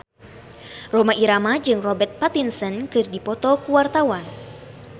Rhoma Irama jeung Robert Pattinson keur dipoto ku wartawan